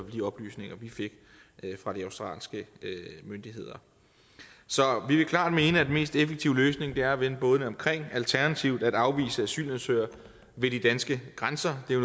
de oplysninger vi fik fra de australske myndigheder så vi vil klart mene at den mest effektive løsning er at vende bådene omkring alternativt at afvise asylansøgere ved de danske grænser det er